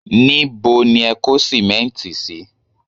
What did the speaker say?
Níbo ni ẹ kó sìmẹ́ǹtì sí?